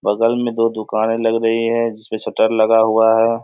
बगल में दो दुकानें लग रही है जिसपे शटर लगा हुआ है।